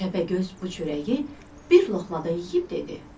Təpəgöz bu çörəyi bir loğmada yeyib dedi: